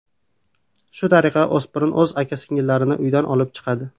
Shu tariqa, o‘spirin o‘z uka-singillarini uydan olib chiqadi.